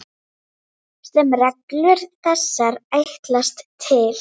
sem reglur þessar ætlast til.